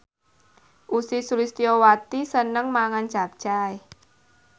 Ussy Sulistyawati seneng mangan capcay